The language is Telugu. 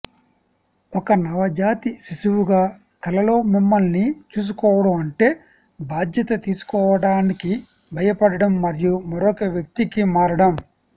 ఒక నవజాత శిశువుగా కలలో మిమ్మల్ని చూసుకోవడం అంటే బాధ్యత తీసుకోవటానికి భయపడటం మరియు మరొక వ్యక్తికి మారడం